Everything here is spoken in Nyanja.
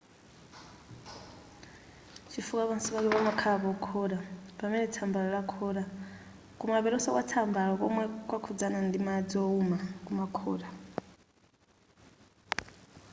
chifukwa pansi pake pamakhala pokhota pamene tsambalo lakhota kumapetonso kwatsambalo komwe kwakhudzana ndi madzi wowuma kumakhota